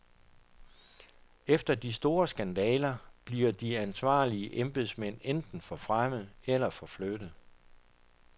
Efter de store skandaler bliver de ansvarlige embedsmænd enten forfremmet eller forflyttet.